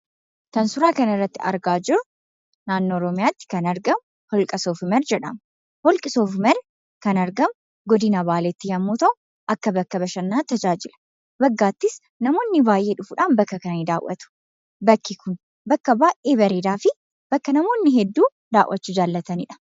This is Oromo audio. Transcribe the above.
Kan suuraa kanarratti argaa jirru naannoo Oromiyaatti kan argamu Holqa Soof Umar jedhama. Holqi Soof Umar kan argamu godina Baaleetti yommuu ta'u, akka bakka bashannanaatti tajaajila. Waggaattis namoonni baay'ee dhufuudhaan bakka kana ni daawwatu. Bakki kun bakka baay'ee bareedaa fi bakka namoonni hedduun daawwachuu jaallatanii dha.